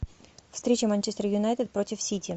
встреча манчестер юнайтед против сити